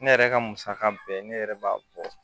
Ne yɛrɛ ka musaka bɛɛ ne yɛrɛ b'a bɔ